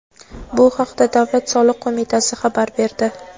Bu haqda Davlat soliq qo‘mitasi xabar berdi.